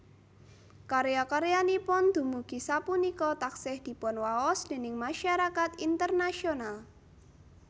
Karya karyanipun dumugi sapunika taksih dipunwaos déning masyarakat internasional